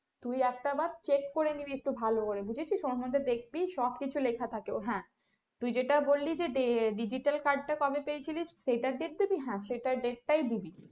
তুই একটাবার check করে নিবি একটু ভালো করে বুঝেছিস ওর মধ্যে দেখবি সব কিছু লেখা থাকে হ্যাঁ তুই যেটা বললি যে digital card টা কবে পেয়েছিলিস সেইটার date দিবি হ্যাঁ সেটার date টাই দিবি।